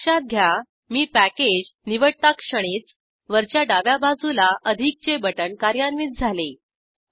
लक्षात घ्या मी पॅकेज निवडताक्षणीच वरच्या डाव्या बाजूला अधिकचे बटण कार्यान्वित झाले